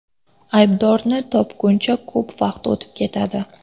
Aybdorni topguncha ko‘p vaqt o‘tib ketadi.